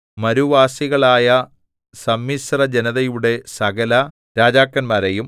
മരുവാസികളായ സമ്മിശ്രജനതയുടെ സകല രാജാക്കന്മാരെയും